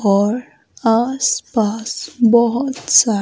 और आसपास बहुत सारे--